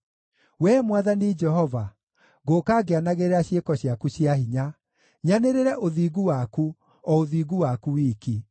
Wee Mwathani Jehova, ngũũka ngĩanagĩrĩra ciĩko ciaku cia hinya, nyanĩrĩre ũthingu waku, o ũthingu waku wiki.